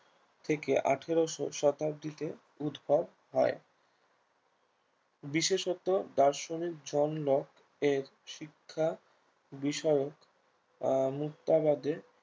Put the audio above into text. থেকে আঠেরোশো শতাব্দীতে উদ্ভব হয় বিশেষত দার্শনিক জন্য এর শিক্ষা বিষয়ে আহ মুক্তাবাদে